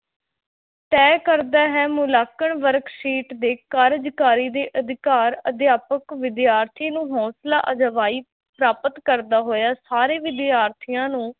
ਤੈਅ ਕਰਦਾ ਹੈ, ਮੁਲਾਂਕਣ worksheet ਦੇ ਕਾਰਜ਼ਕਾਰੀ ਦੇ ਅਧਿਕਾਰ ਅਧਿਆਪਕ ਵਿਦਿਆਰਥੀ ਨੂੰ ਹੌਸਲਾ ਅਫ਼ਜ਼ਾਈ ਪ੍ਰਾਪਤ ਕਰਦਾ ਹੋਇਆ ਸਾਰੇ ਵਿਦਿਆਰਥੀਆਂ ਨੂੰ